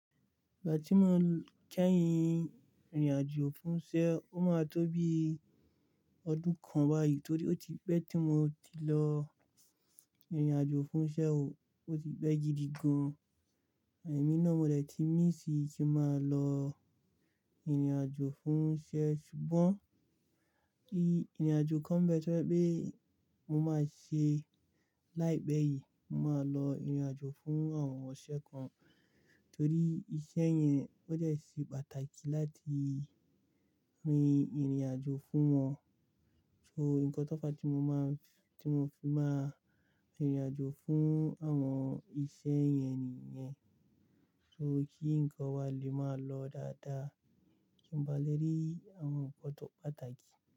Ìgbà tí mo kẹ́yìn ìrìnàjò fún iṣẹ́, ó máa tó bí ọdún kan báyìí torí ó ti pẹ́ tí mo ti lọ ìrìnàjò fún iṣẹ́ o, ó ti pẹ́ gidi gan. Ẹ̀mí náà mo dẹ̀ tí míss i ki máa lo. Ìrìnàjò fún iṣẹ́ ṣùgbọ́n kí ìrìnàjò kan bẹ ti o je pé mo máa ṣe láìpẹ́ yìí, mo máa lọ ìrìnàjò fún àwọn iseẹ kan torí iṣẹ́ yẹn ó jẹ́ ṣì pàtàkì láti rin ìrìnàjò fún wọn. So nǹkan tó fa ti mo máa, tí mo fi máa ìrìnàjò fún àwọn iṣẹ́ yẹn nìyẹn. So kí nǹkan wa lè máa lọ dáadáa kí n bá lè rí àwọn pàtàkì.